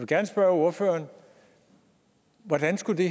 gerne spørge ordføreren hvordan skulle det